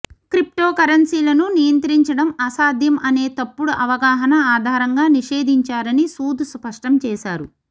క్రిప్టోకరెన్సీలను నియంత్రించడం అసాధ్యం అనే తప్పుడు అవగాహన ఆధారంగా నిషేధించారని సూద్ స్పష్టం చేశారు